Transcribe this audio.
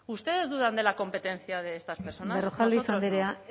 ustedes dudan de la competencia de estas personas berrojalbiz andrea